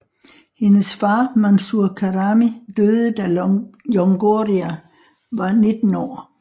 Hendes far Mansour Karami døde da longoria var 19 år